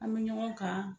An bɛ ɲɔgɔn kan